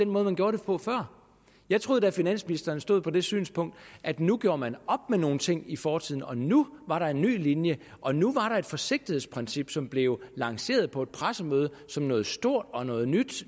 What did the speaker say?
måde man gjorde det på før jeg troede da at finansministeren stod på det synspunkt at nu gjorde man op med nogle ting i fortiden og nu var der en ny linje og nu var der et forsigtighedsprincip som blev lanceret på et pressemøde som noget stort og noget